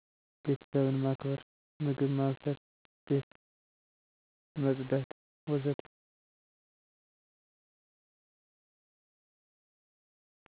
ቤተሰብን ማክበር፣ ምግብ ማብሰል፣ ቤት መፅዳት ወዘተ..